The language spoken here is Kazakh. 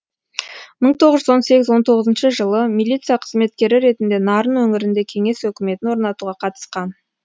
мың тоғыз жүз он сегіз он тоғызыншы жылы милиция қызметкері ретінде нарын өңірінде кеңес өкіметін орнатуға қатысқан